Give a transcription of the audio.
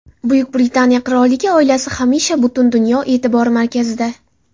Buyuk Britaniya qirolligi oilasi hamisha butun dunyo e’tibori markazida.